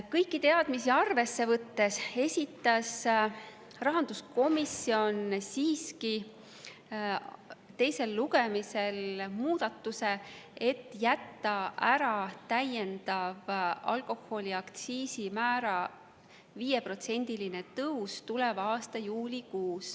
Kõiki teadmisi arvesse võttes esitas rahanduskomisjon siiski teise lugemise eel muudatus jätta ära alkoholi aktsiisimäära täiendav 5%‑line tõus tuleva aasta juulikuus.